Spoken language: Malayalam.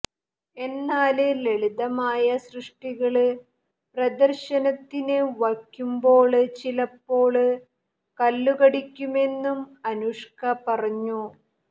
എന്നാല് ലളിതമായ സൃഷ്ടികള് പ്രദര്ശനത്തിന് വയ്ക്കുമ്പോള് ചിലപ്പോള് കല്ലുകടിക്കുമെന്നും അനുഷ്ക പറഞ്ഞു